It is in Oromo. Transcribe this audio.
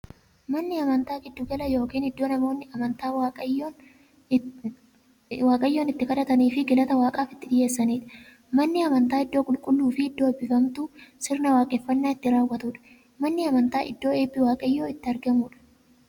Manni amantaa giddu gala yookiin iddoo namoonni amantaa waaqayyoon itti kadhataniifii galata waaqaaf itti dhiyeessaniidha. Manni amantaa iddoo qulqulluufi iddoo eebbifamtuu, sirna waaqeffannaa itti raawwatuudha. Manni amantaa iddoo eebbi waaqayyoo itti argamuudha.